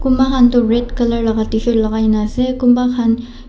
kunbahan tu red colour la tshirt lagaigena ase kunbahan.